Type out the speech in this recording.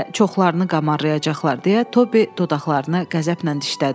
“Hələ çoxlarını qamarrayacaqlar”, deyə Tobi dodaqlarını qəzəblə dişlədi.